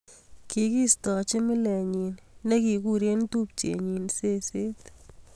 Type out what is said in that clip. Kakiistochi milenyi ne kikure tupchet nyi seset